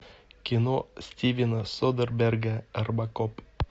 кино стивена содерберга робокоп